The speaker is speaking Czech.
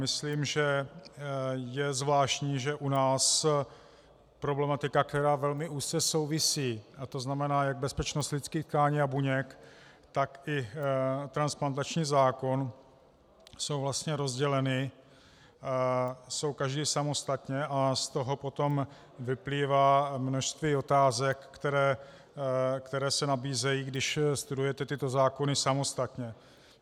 Myslím, že je zvláštní, že u nás problematika, která velmi úzce souvisí, a to znamená jak bezpečnost lidských tkání a buněk, tak i transplantační zákon jsou vlastně rozděleny, jsou každý samostatně, a z toho potom vyplývá množství otázek, které se nabízejí, když studujete tyto zákony samostatně.